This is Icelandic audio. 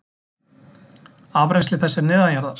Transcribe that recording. Afrennsli þess er neðanjarðar.